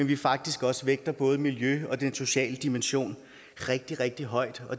vi faktisk også vægter både miljøet og den sociale dimension rigtig rigtig højt